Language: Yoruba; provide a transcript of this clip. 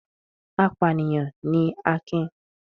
Apànìyàn ni Akin.